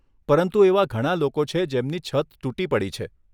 પરંતુ એવા ઘણા લોકો છે જેમની છત તૂટી પડી છે.